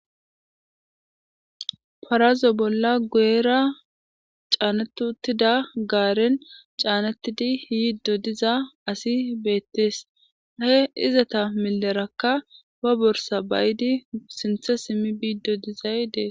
Parazo bolla guera caanetutida gaaren caanettidi yiido diza asi beettees ahe izata milerakka ba borsa bayidi sinthe simmi biiddo dizay dee.